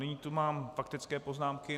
Nyní tu mám faktické poznámky.